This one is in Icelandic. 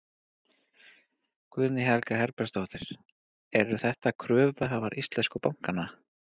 Guðný Helga Herbertsdóttir: Eru þetta kröfuhafar íslensku bankanna?